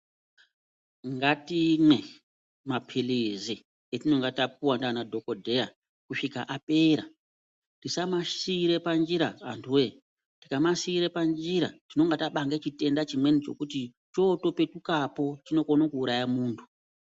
Ngatimwe mapilizi etinonga tapuwa ndiana dhokodheya kusvika apera tisamasiire panjira antuwoye tikamasiire panjira tinonga tabanga chimwe chitenda chekuti chootopetukapo chinokona kuuraya munhu.